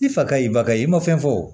Ni fakɛ y'i bali i ma fɛn fɔ wo